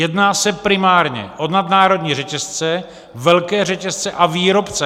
Jedná se primárně o nadnárodní řetězce, velké řetězce a výrobce.